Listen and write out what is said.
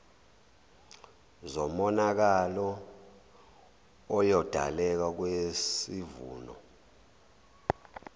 zomonakalo oyodaleka kwisivuno